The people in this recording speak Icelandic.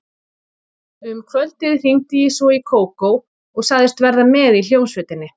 Um kvöldið hringdi ég svo í Kókó og sagðist verða með í hljómsveitinni.